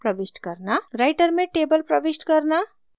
writer में table प्रविष्ट करना